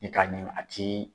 I ka ɲimi a t'i